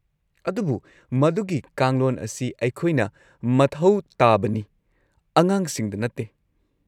ꯑꯗꯨꯕꯨ ꯃꯗꯨꯒꯤ ꯀꯥꯡꯂꯣꯟ ꯑꯁꯤ ꯑꯩꯈꯣꯏꯅ ꯃꯊꯧ ꯇꯥꯕꯅꯤ, ꯑꯉꯥꯡꯁꯤꯡꯗ ꯅꯠꯇꯦ꯫